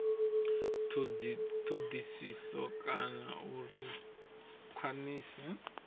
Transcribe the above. thodisiso kana uri a khwiniswe